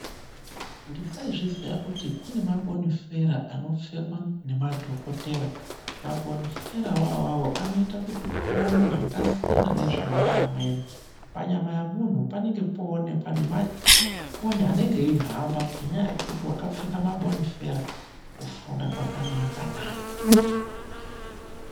Ndisai zviziya kuti kunemabonifera anopfekwa ngemadhokotera. Mabonifera ona avavo anoite kuti uone zvakasiyana nezvinoona amweni. Panyama pemuntu panenge poonekwa nemakonye anonga eihamba ngendaa yekuti vakapfeka mabonifera. Kufunda kwakanakana.